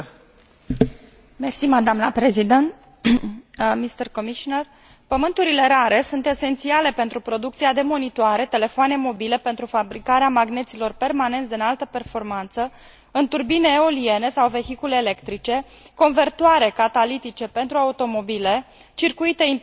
Elementele terestre rare sunt esențiale pentru producția de monitoare, telefoane mobile, pentru fabricarea magneților permanenți de înaltă performanță, în turbine eoliene sau vehicule electrice, convertoare catalitice pentru automobile, circuite imprimate, fibre optice.